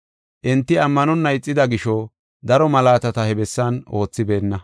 Enti ammanonna ixida gisho daro malaatata he bessan oothibeenna.